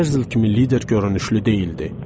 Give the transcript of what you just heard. Herzl kimi lider görünüşlü deyildi.